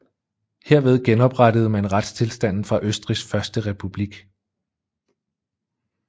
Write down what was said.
Herved genoprettede man retstilstanden fra Østrigs første republik